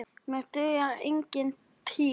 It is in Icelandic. Mér dugar engin týra!